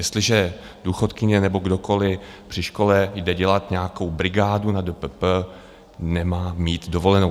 Jestliže důchodkyně nebo kdokoliv při škole jde dělat nějakou brigádu na DPP, nemá mít dovolenou.